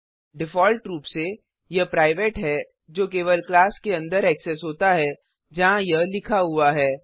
default रूप से यह प्राइवेट हैजो केवल क्लास के अंदर ऐक्सेस होता है जहाँ यह लिखा हुआ है